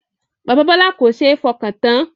Bàbá Bọlá kò ṣe é fọkàn tán